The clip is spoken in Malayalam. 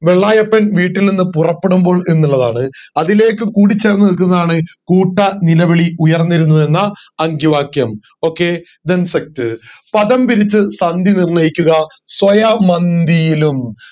വെള്ളായപ്പൻ വീട്ടിൽ നിന്നും പുറപ്പെടുമ്പോൾ എന്നുള്ളതാണ് അതിലേക്ക് കൂടിച്ചേർന്നു നിൽക്കുന്നതാണ് കൂട്ട നിലവിളി ഉയർന്നിരുന്നു എന്ന അങ്കിവാക്യം then set പദം തിരിച്ചു സന്ധി നിർണയിക്കുക സ്വയമന്തിയിലും